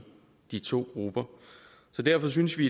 de to grupper derfor synes vi